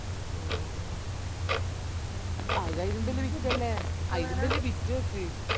ആഹ് അത് ആയിലും ബല്യ ബിറ്റല്ലേ അയിലുംബല്യ ബിറ്റ് കേക്ക്‌